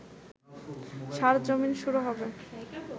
সার জমিন শুরু হবে